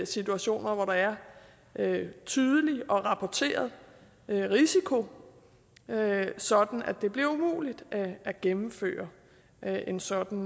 situationer hvor der er en tydelig og rapporteret risiko sådan at det bliver umuligt at gennemføre en sådan